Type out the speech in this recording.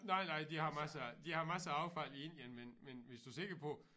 Nej nej de har masser de har masser af affald i Indien men men hvis du sikker på